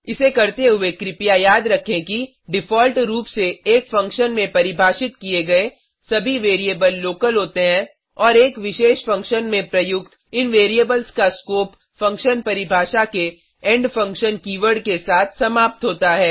इसे करते हुए कृपया याद रखें कि डिफ़ॉल्ट रूप से एक फंक्शन में परिभाषित किए गए सभी वैरिएबल लोकल होते हैं और एक विशेष फंक्शन में प्रयुक्त इन वैरिएबल्स का स्कोप फंक्शन परिभाषा के इंड फंक्शन की वर्ड के साथ समाप्त होता है